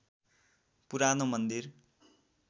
पुरानो मन्दिर